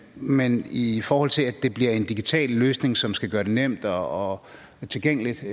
men i forhold til at det bliver en digital løsning som skal gøre det nemt og tilgængeligt så